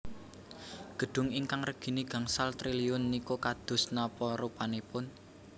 Gedung ingkang regine gangsal triliun niku kados napa rupanipun?